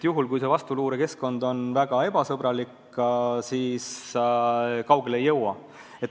Kui vastuluure keskkond on väga ebasõbralik, siis kaugele ei jõua.